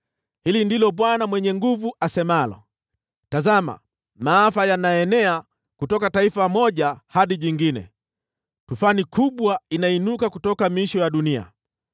Hili ndilo Bwana Mwenye Nguvu Zote asemalo: “Tazama! Maafa yanaenea kutoka taifa moja hadi jingine; tufani kubwa inainuka kutoka miisho ya dunia.”